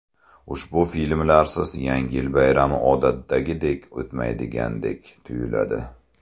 Ushbu filmlarsiz Yangi yil bayrami odatdagidek o‘tmaydigandek tuyuladi.